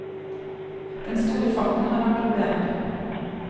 Den store farten har vært problemet.